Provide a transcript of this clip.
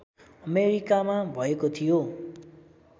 अमेरिकामा भएको थियो